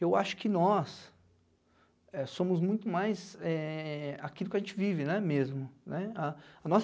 Eu acho que nós somos é muito mais aquilo que a gente vive, né, né mesmo? A a nossa